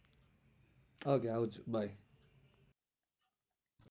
ok આવજો bye